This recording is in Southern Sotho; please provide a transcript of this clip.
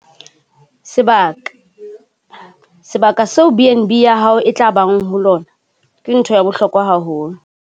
Sebaka - Sebaka seo BnB ya hao e tla bang ho lona ke ntho ya bohlokwa haholo.